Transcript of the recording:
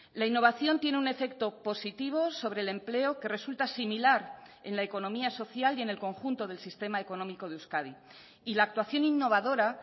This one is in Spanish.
la innovación tiene un efecto positivo sobre el empleo que resulta similar en la economía social y en el conjunto del sistema económico de euskadi y la actuación innovadora